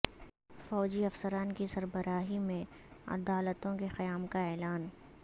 فوجی افسران کی سربراہی میں عدالتوں کے قیام کا اعلان